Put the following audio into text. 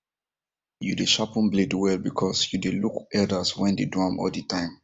you dey sharpen blade well because you dey look elders wen dey do am all the time